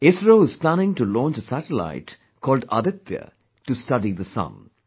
ISRO is planning to launch a satellite called Aditya, to study the sun